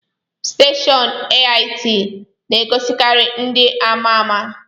Steshọọnu AIT n'egosikari ndị amaama.